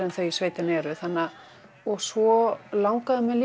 en þau í sveitinni eru og svo langaði mig